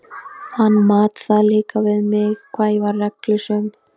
Hann mat það líka við mig hvað ég var reglusöm.